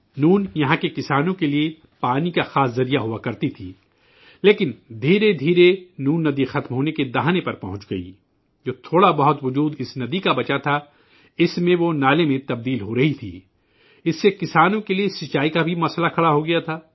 نون، یہاں کے کسانوں کے لیے پانی کا سب سے بڑا ذریعہ ہوا کرتی تھی، لیکن آہستہ آہستہ نون ندی معدومیت کے دہانے پر پہنچ گئی، جو تھوڑا بہت وجود اس ندی کا بچا تھا، اس میں وہ نالے میں تبدیل ہو رہی تھی، اس سے کسانوں کے لیے آبپاشی کا مسئلہ بھی پیدا ہوگیا تھا